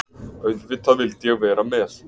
Auðvitað vildi ég vera með.